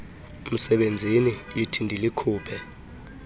msebenzini yithi ndilikhuphe